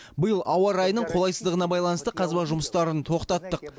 биыл ауа райының қолайсыздығына байланысты қазба жұмыстарын тоқтаттық